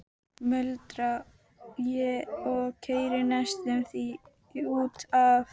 muldra ég og keyri næstum því út af.